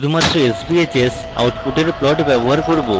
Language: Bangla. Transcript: শুধুমাত্র sbhs output plot ব্যবহার করব